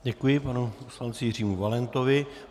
Děkuji panu poslanci Jiřímu Valentovi.